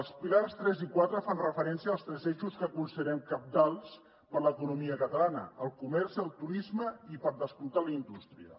els pilars tres i quatre fan referència als tres eixos que considerem cabdals per l’economia catalana el comerç el turisme i per descomptat la indústria